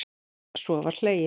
Svo var hlegið.